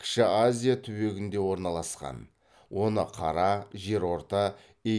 кіші азия түбегінде орналасқан оны қара жерорта